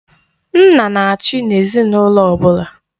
Nna na-achị n'ezinaụlọ ọbụla.